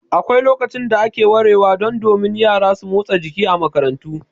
Akwai lokacin da ake warewa, don min yara su motsa jiki a makarantu.